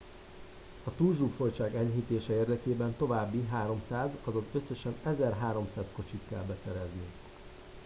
a túlzsúfoltság enyhítése érdekében további 300 azaz összesen 1300 kocsit kell beszerezni